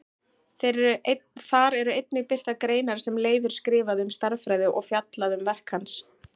Þar eru einnig birtar greinar sem Leifur skrifaði um stærðfræði og fjallað um verk hans.